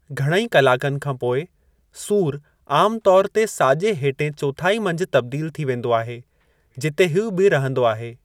घणई कलाकनि खां पोइ, सूरु आमु तौर ते साॼे हेठें चोथाई मंझि तब्दील थी वेंदो आहे, जिते हीउ बी रहंदो आहे।